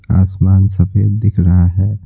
आसमान सफेद दिख रहा है।